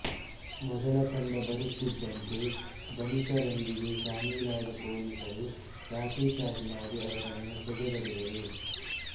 ಮೊದಲ ತಂಡ ಬರುತ್ತಿದ್ದಂತೆ ಧನಿಕರೊಂದಿಗೆ ಶಾಮೀಲಾದ ಪೊಲೀಸರು ಲಾಠಿಚಾರ್ಜ್ ಮಾಡಿ ಅವರನ್ನು ಸದೆ ಬಡಿದರು